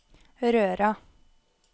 Røra